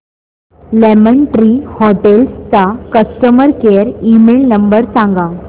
lemon tree hotels चा customer care email number सांगा